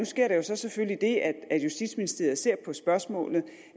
sker der så selvfølgelig det at justitsministeriet ser på spørgsmålet